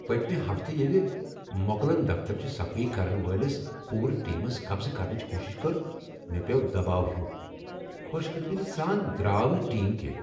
پٔتمہ ہفتہٕ ییٚلہ موکلن دفترٕچ صفٲیی کرن وٲلس پورٕ ٹیمس قبضہٕ کرنٕچ کوشش کٔر، مےٚ پیوٚو دباو ہیُو۔ خوش قسمتی سان درٛاو نہٕ ٹیم کینٛہہ۔